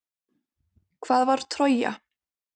Hvað var Trója?